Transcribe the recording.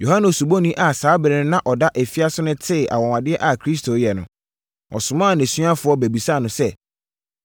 Yohane Osubɔni a saa ɛberɛ no na ɔda afiase no tee anwanwadeɛ a Kristo reyɛ no, ɔsomaa nʼasuafoɔ bɛbisaa no sɛ,